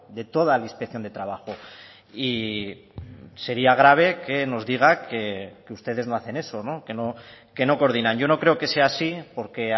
de toda la inspección de trabajo y sería grave que nos diga que ustedes no hacen eso que no coordinan yo no creo que sea así porque